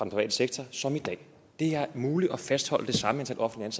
private sektor som i dag det er muligt at fastholde det samme antal offentligt